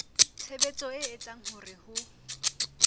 tshebetso e etsang hore ho